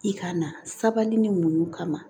I ka na sabali ni muɲu kama